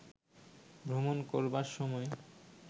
ভ্রমণ করবার সময়